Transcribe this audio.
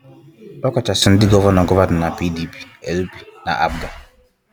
ọkachasị ndị gọvanọ gọvanọ na PDP, LP, na APGA